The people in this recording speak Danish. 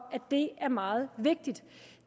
er meget vigtigt